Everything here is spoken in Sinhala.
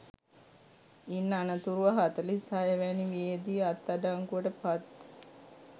ඉන් අනතුරුව හතලිස් හය වැනි වියේදී අත් අඩංගුවට පත්